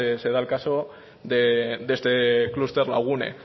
se da el caso de este clúster